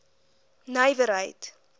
nywerheid